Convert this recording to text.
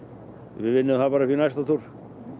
við vinnum það upp í næsta túr